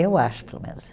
Eu acho, pelo menos.